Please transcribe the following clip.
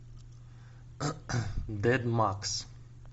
дэдмакс